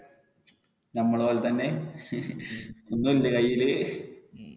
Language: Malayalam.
നമ്മടെ പോലെ തന്നെ ഒന്നുല്ലേ കൈയില്.